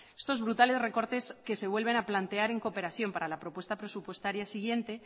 estos brutales recortes que se vuelven a plantear en cooperación para la propuesta presupuestaria siguiente